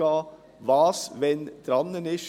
Was ist wann an der Reihe?